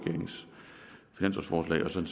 forslaget som